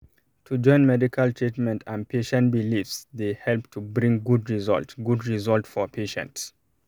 to join medical treatment and patient beliefse dey help to bring good result good result for patient